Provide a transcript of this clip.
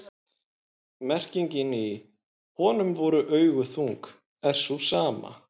merkingin í „honum voru augu þung“ er sú sama